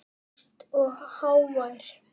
Laglaus og hávær.